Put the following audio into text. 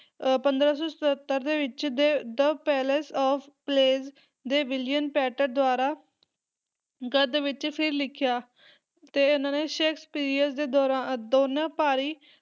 ਅਹ ਪੰਦਰਾਂ ਸੌ ਸਤੱਤਰ ਦੇ ਵਿੱਚ ਦੇ the palace of pleasure ਦੇ ਵਿਲੀਅਮ ਪੇਂਟਰ ਦੁਆਰਾ ਗਦ ਵਿੱਚ ਫਿਰ ਲਿਖਿਆ ਤੇ ਤੇ ਇਹਨਾਂ ਨੇ ਸ਼ੇਕਸਪੀਅਰ ਦੇ ਦੌਰਾ ਦੋਨਾਂ ਭਾਰੀ